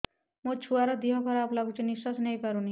ମୋ ଛୁଆର ଦିହ ଖରାପ ଲାଗୁଚି ନିଃଶ୍ବାସ ନେଇ ପାରୁନି